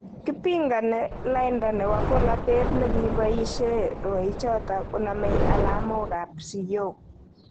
Kipingani lainda nepo polotet nekipoishei rwaichoto konomei alamok ap.siyook